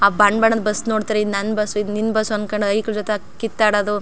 ಆ ಬಣ್ಣ್ ಬಣ್ಣದ್ ಬಸ್ ನೋಡತ್ತರೆ ಈದ್ ನನ್ನ ಬಸ್ಸು ಇದು ನಿನ್ನ ಬಸ್ಸು ಅನ್ನಕೊಂಡ್ ಐಕ್ಲ್ ಜೊತೆ ಕಿತ್ತಾಡೋದು .